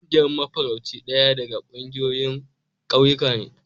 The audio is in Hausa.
Ƙungiyar mafarauci daya daga ƙungiyoyin ƙauyuka ne.